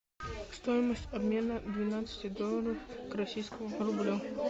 стоимость обмена двенадцати долларов к российскому рублю